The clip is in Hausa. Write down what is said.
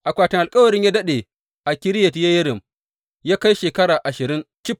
Akwatin Alkawarin ya daɗe a Kiriyat Yeyarim ya kai shekara ashirin cif.